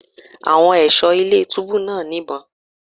Àwọn ẹ̀ṣọ́ ilé túbú náà ní ìbọn.